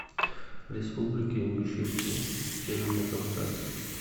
республика ингушетия северный кавказ